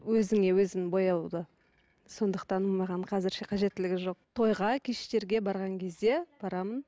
өзіңе өзің бояуды сондықтан маған қазірше қажеттілгі жоқ тойға кештерге барған кезде барамын